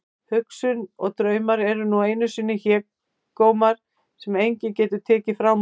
Hugsun og draumar eru nú einu sinni helgidómar sem enginn getur tekið frá manni.